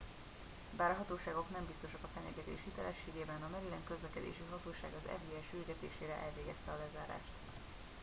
bár a hatóságok nem biztosak a fenyegetés hitelességében a maryland közlekedési hatóság az fbi sürgetésére elvégezte a lezárást